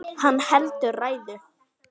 Hann heldur ræðu.